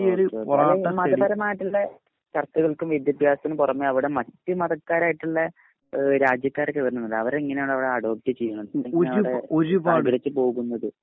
മതപരമായിട്ടുള്ള ചർച്ചകൾക്കും വിദ്യാഭ്യാസത്തിനും പുറമെ അവിടെ മറ്റു മതക്കാർ ആയിട്ടുള്ള രാജ്യക്കാർ ഒക്കെ വരുന്നുണ്ടല്ലോ. അവർ എങ്ങനെയാണ് അവരെ അടോപ്റ്റ് ചെയ്യുന്നത് എങ്ങനെ അവിടെ സഹകരിച്ച് പോകുന്നത്